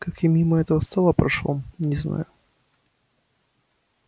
как я мимо этого стола прошёл не знаю